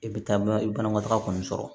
I bɛ taa i bɛ banakɔtaga kɔni sɔrɔ